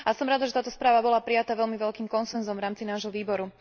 Som rada, že táto správa bola prijatá veľmi veľkým konsenzom v rámci nášho výboru.